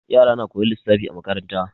Yara na koyan lissafi a makaranta.